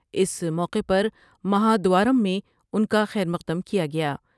اس موقع پر مہا دوارم میں ان کا خیر مقدم کیا گیا ۔